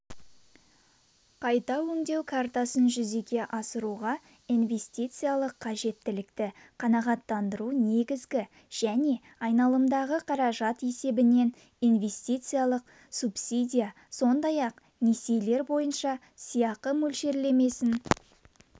қайта өңдеу картасын жүзеге асыруға инвестициялық қажеттілікті қанағаттандыру негізгі және айналымдағы қаражат есебінен инвестициялық субсидия сондай-ақ несиелер бойынша сыйақы мөлшерлемесін